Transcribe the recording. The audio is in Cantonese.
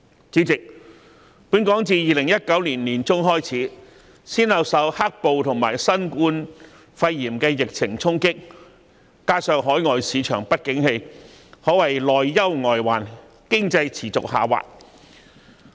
主席，本港自2019年年中開始，先後受"黑暴"和新冠肺炎疫情衝擊，加上海外市場不景氣，可謂內憂外患，經濟持續下滑。